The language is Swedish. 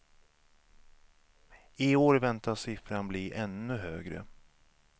I år väntas siffran bli ännu högre.